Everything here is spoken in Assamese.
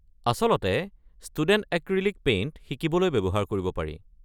আচলতে ষ্টুডেণ্ট এক্ৰীলিক পেইণ্ট শিকিবলৈ ব্যৱহাৰ কৰিব পাৰি।